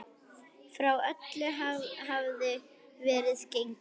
Frá öllu hafði verið gengið.